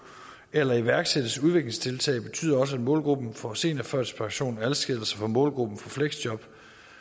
eller iværksættes udviklingstiltag betyder også at målgruppen for seniorførtidspension adskiller sig fra målgruppen for fleksjob